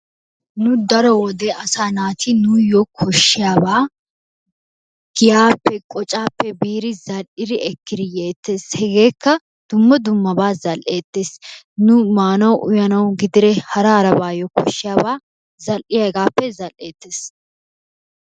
Nu daro wode asaa naati nuuyyo koshshiyabaa giyaappe, qocaappe biiri zal"iri ekkiri yeettees. Hegeekka dumma dummabaa zal"eettees. Nu maanawu uyanawu gidiree hara harabaayyo koshshiyabaa zal"iya hegaappe zal"eettees.